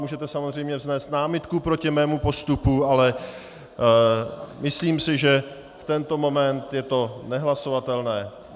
Můžete samozřejmě vznést námitku proti mému postupu, ale myslím si, že v tento moment je to nehlasovatelné.